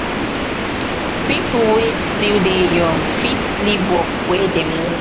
pipo wey still dey young fit leave work wey dem no